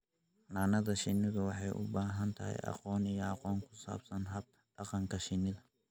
Xannaanada shinnidu waxay u baahan tahay aqoon iyo aqoon ku saabsan hab-dhaqanka shinnida.